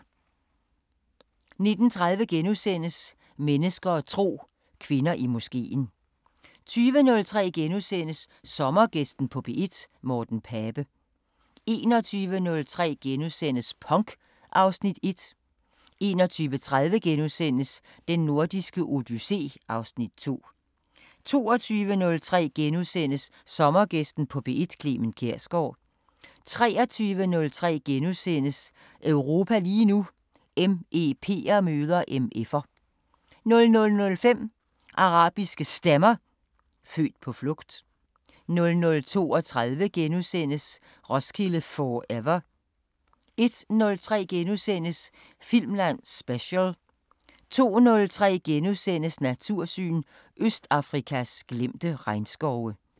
19:30: Mennesker og tro: Kvinder i moskeen * 20:03: Sommergæsten på P1: Morten Pape * 21:03: Punk (Afs. 1)* 21:30: Den Nordiske Odyssé (Afs. 2)* 22:03: Sommergæsten på P1: Clement Kjersgaard * 23:03: Europa lige nu: MEP'er møder MF'er * 00:05: Arabiske Stemmer: Født på flugt 00:32: Roskilde 4ever * 01:03: Filmland Special * 02:03: Natursyn: Østafrikas glemte regnskove *